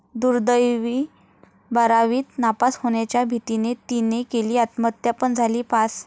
दुर्दैवी!, बारावीत नापास होण्याच्या भीतीने 'ती'ने केली आत्महत्या पण झाली पास